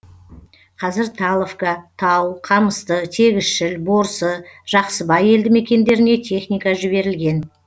қазір таловка тау қамысты тегісшіл борсы жақсыбай елді мекендеріне техника жіберілген